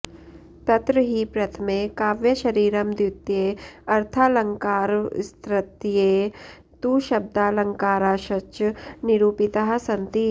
तत्र हि प्रथमे काव्यशरीरं द्वितीये अर्थालङ्कारास्तृतीये तु शब्दालङ्काराश्च निरूपिताः सन्ति